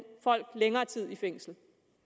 folk længere tid i fængsel